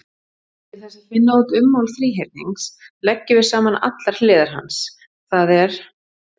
Til þess að finna út ummál þríhyrnings leggjum við saman allar hliðar hans, það er: